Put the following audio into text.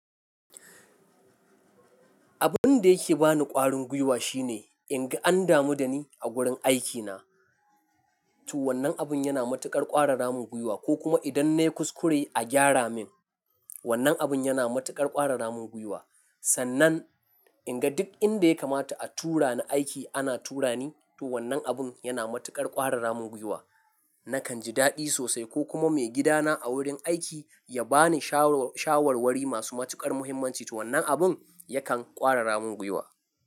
Abun da yake ba ni ƙwarin gwiwa shine in ga an damu da ni a wurin aikina, to wannan abun yana matuƙar ƙwarara mun gwiwa ko kuma idan na yi kuskure a gyara min, wannan abun yana matuƙar ƙwarara mun gwiwa. Sannan in ga duk inda ya kamata a tura ni aiki ana tura ni, to wannan abun yana matuƙar ƙwarara mun gwiwa. Nakan ji daɗi sosai ko kuma maigidana a wurin aiki ya ba ni shawarwari masu matuƙar muhimmanci, to wannan abun yakan ƙwarara mun gwiwa.